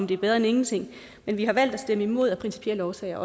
det er bedre end ingenting men vi har valgt at stemme imod af principielle årsager